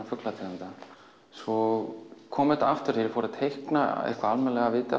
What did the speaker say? fuglategunda svo kom þetta aftur þegar ég fór að teikna af viti